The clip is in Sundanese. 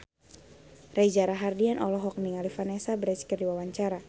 Reza Rahardian olohok ningali Vanessa Branch keur diwawancara